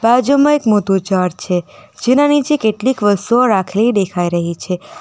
બાજુમાં એક મોતૂ ઝાડ છે જેના નીચે કેટલીક વસ્તુઓ રાખેલી દેખાઈ રહી છે.